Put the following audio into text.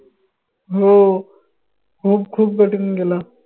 हो हो खूप नेला.